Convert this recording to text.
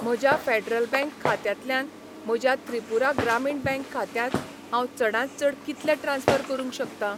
म्हज्या Federal bank खात्यांतल्यान म्हज्या त्रिपुरा ग्रामीण बँक खात्यांत हांव चडांत चड कितले ट्रान्स्फर करूंक शकतां?